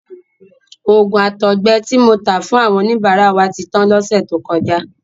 Òògùn àtọgbẹ ti mo ta fún àwọn oníbàárà wa ti tan lọ́sẹ̀ tó kọjá.